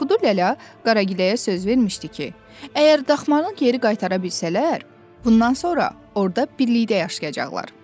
Kuduləlla Qaragiləyə söz vermişdi ki, əgər daxmanı geri qaytara bilsələr, bundan sonra orda birlikdə yaşayacaqlar.